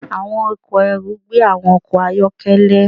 Àwọn ọkọ̀ ẹrù gbé àwọn ọkọ̀ ayọ́kẹ́lẹ́.